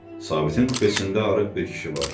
Sabitin kupesində arıq bir kişi vardı.